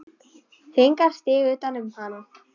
Hringar sig utan um hana.